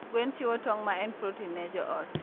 gwen chiwo tong'o maen protein ne joot.